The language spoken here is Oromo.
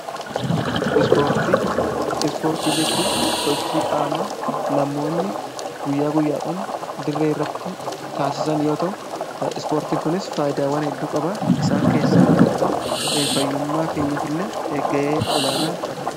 ispoortii jechuun sochii qaama namoonni guyyaa guyyaadhaan diree irratti taasisan yoo ta'u ispoortiin kunis faayidaawwan hedduu qaba isaan keessaa tokko fayyummaa keenyaf illee ga'ee olaanaa taphata.